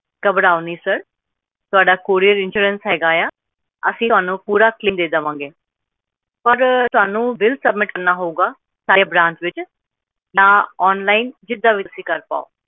sir ਘਬਰਾਓ ਨਹੀਂ ਤੁਹਾਡਾ courierinsurance ਹੈਗਾ ਆ ਅਸੀਂ ਤੁਹਾਨੂੰ ਪੂਰਾ ਦਿਆਂਗੇ ਪਾਰ ਤੁਹਾਨੂੰ billsubmit ਕਰਨਾ ਹੋਊਗਾ ਸਾਡੀ online ਵਿਚ ਜਿੱਦਾਂ ਵੀ ਤੁਸੀਂ ਕਰ ਪਾਓ